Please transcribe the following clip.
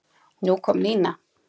Nú kom Nína.